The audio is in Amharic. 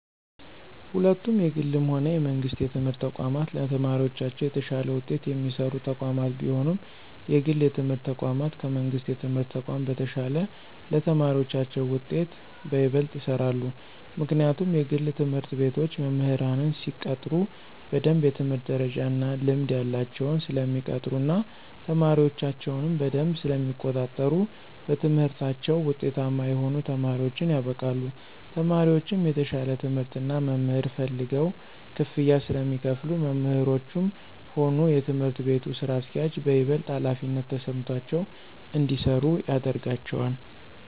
ሁለቱም የግልም ሆነ የመንግስት የትምህርት ተቋማት ለተማሪዎቻቸው የተሻለ ውጤት የሚሰሩ ተቋማት ቢሆኑም የግል የትምህርት ተቋማት ከመንግሥት የትምህርት ተቋም በተሻለ ለተማሪዎቻቸው ውጤት በይበልጥ ይሰራሉ። ምክንያቱም የግል ትምህርት ቤቶች መምህራንን ሲቀጥሩ በደምብ የትምህርት ደረጃ እና ልምድ ያላቸውን ስለሚቀጥሩ እና ተማሪዎቻቸውንም በደምብ ስለሚቆጣጠሩ በትምህርታቸው ውጤታማ የሆኑ ተማሪዎችን ያበቃሉ። ተማሪዎቹም የተሻለ ትምህርት እና መምህር ፈልገው ክፍያ ስለሚከፍሉ መምህሮቹም ሆኑ የትምህርት ቤቱ ስራ አስኪያጆች በይበልጥ ሀላፊነት ተሰምቷቸው እንዲሰሩ ያደርጋቸዋል።